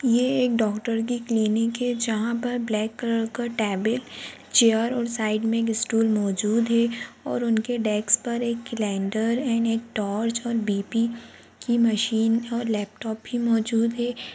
ये एक डॉक्टर की क्लीनिक है जहां पर ब्लैंक कलर का टेबल चेयर और साइड मे एक स्टूल मोजूद है और उनके डेक्स पर एक केलेण्डर एंड एक टॉर्च और बी.पी. की मशीन और लैपटॉप भी मौजूद है।